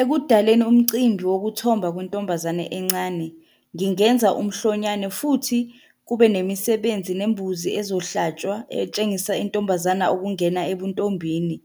Ekudaleni umcimbi wokuthomba kwentombazane encane, ngingenza umhlonyane, futhi kube nemisebenzi nembuzi ezohlatshwa, etshengisa intombazana ukungena ebuntombini,